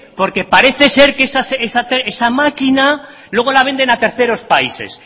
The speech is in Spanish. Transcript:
porque parece ser que esa máquina luego la venden a terceros países